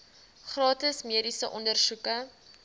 gratis mediese ondersoeke